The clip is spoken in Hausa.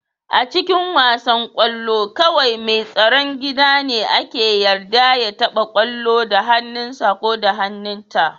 A cikin wasan kwallo, kawai mai tsaron gida ne ake yarda ya taba kwallon da hannunsa ko hannunta.